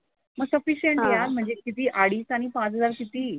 मग सफिशिअंट आहे म्हणजे किती अडीच आणि पाच हजार किती.